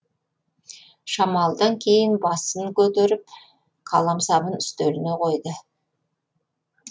шамалыдан кейін басын көтеріп қаламсабын үстеліне қойды